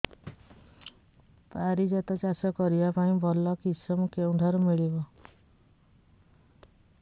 ପାରିଜାତ ଚାଷ କରିବା ପାଇଁ ଭଲ କିଶମ କେଉଁଠାରୁ ମିଳିବ